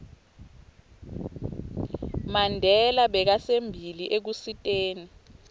mandela bekasembili ekusiteni